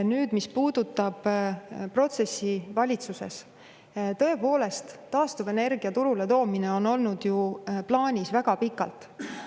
Nüüd, mis puudutab protsessi valitsuses, siis tõepoolest taastuvenergia turule toomine on olnud ju plaanis väga pikalt.